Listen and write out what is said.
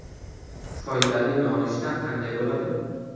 Foydali nonushta qanday bo‘ladi?.